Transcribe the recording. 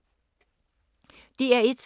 DR1